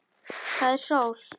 Það er sól.